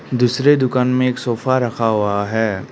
दूसरे दुकान में एक सोफा रखा हुआ है।